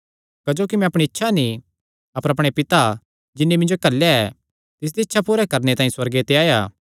क्जोकि मैं अपणी इच्छा नीं अपर अपणे पिता जिन्नी मिन्जो घल्लेया ऐ तिसदी इच्छा पूरी करणे तांई सुअर्गे ते आया